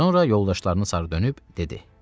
Sonra yoldaşlarına sarı dönüb dedi: